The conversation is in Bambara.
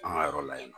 An ka yɔrɔ la yen nɔ